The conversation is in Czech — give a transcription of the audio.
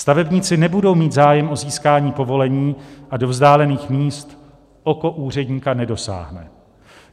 Stavebníci nebudou mít zájem o získání povolení a do vzdálených míst oko úředníka nedosáhne.